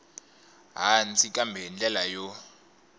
hansi kambe hi ndlela yo